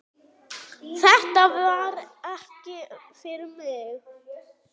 Þetta var ekki fyrir mig